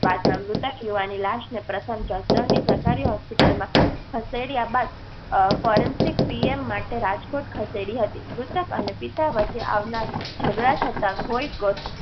બાદમાં મૃતક યુવાન ની લાશ ને પ્રથમ જસદણ ની સરકારી hospital માં ખસેડીયા બાદ. forensic પીએમ માટે રાજકોટ ખસેડી હતી. મૃતક અને પિતા વચ્ચે ઝઘડા થતા